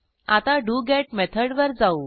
आता डोगेत मेथडवर जाऊ